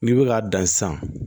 N'i bɛ k'a dan sisan